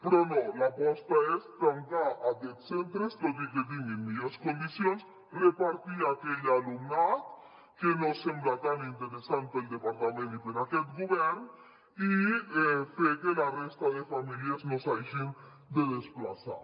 però no l’aposta és tancar aquests centres tot i que tinguin millors condicions repartir aquell alumnat que no sembla tan interessant per al departament i per a aquest govern i fer que la resta de famílies no s’hagin de desplaçar